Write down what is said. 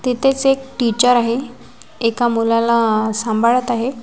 तिथेच एक टीचर आहे एका मुलाला सांभाळत आहे.